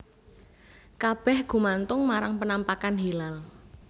Kabèh gumantung marang penampakan hilal